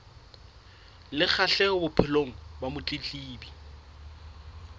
le kgahleho bophelong ba motletlebi